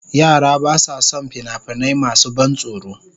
Yara ba sa son fina-finai masu ban tsoro.